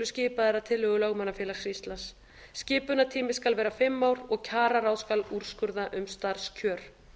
skipaðir að tillögu lögmannafélags íslands skipunartími skal vera fimm ár og kjararáð skal úrskurða um starfskjör